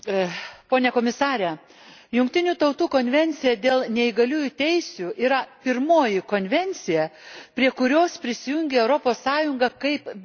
Jungtinių Tautų konvencija dėl neįgaliųjų teisių yra pirmoji konvencija, prie kurios prisijungė Europos Sąjunga, kaip bendra organizacija.